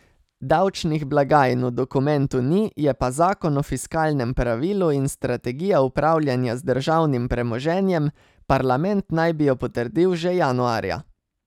Davčnih blagajn v dokumentu ni, je pa zakon o fiskalnem pravilu in strategija upravljanja z državnim premoženjem, parlament naj bi jo potrdil že januarja.